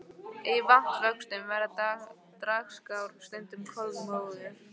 Í vatnavöxtum verða dragár stundum kolmórauðar.